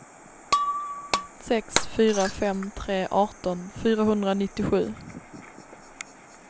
sex fyra fem tre arton fyrahundranittiosju